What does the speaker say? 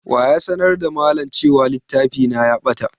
Wa ya sanar da malam cewa littafi na ya ɓata?